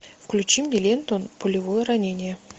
включи мне ленту пулевое ранение